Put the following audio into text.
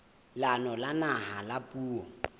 leanong la naha la puo